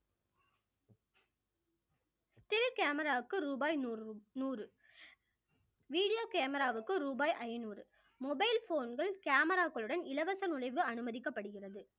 சிறு camera வுக்கு ரூபாய் நூறு நூறு video camera வுக்கு ரூபாய் ஐநூறு mobile phone கள் camera க்களுடன் இலவச நுழைவு அனுமதிக்கப்படுகிறது